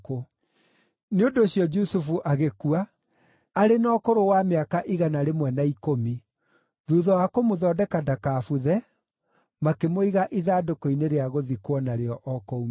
Nĩ ũndũ ũcio Jusufu agĩkua, arĩ na ũkũrũ wa mĩaka igana rĩmwe na ikũmi. Thuutha wa kũmũthondeka ndakabuthe, makĩmũiga ithandũkũ-inĩ rĩa gũthikwo narĩo o kũu Misiri.